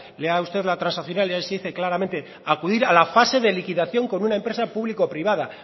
lea usted la transaccional y ahí se lee claramente acudir a la fase de liquidación con una empresa pública privada